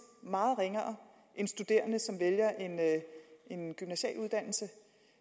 meget ringere end studerende som vælger en gymnasial uddannelse